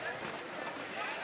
Qoy qaç, qaç.